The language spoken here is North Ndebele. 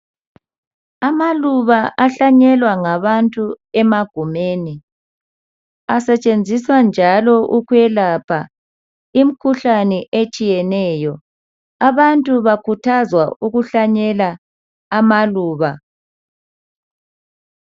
Amaluba ahlanyelwa ngabantu emagumeni asetshenziswa njalo ukwelapha imikhuhlane etshiyeneyo abantu bakhuthazwa ukuhlanyela amaluba.